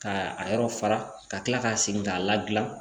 Ka a yɔrɔ fara ka kila k'a segin k'a ladilan